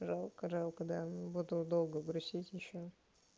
жалко жалко да буду долго грустить ещё